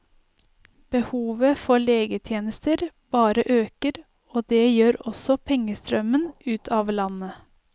Behovet for legetjenester bare øker, og det gjør også pengestrømmen ut av landet.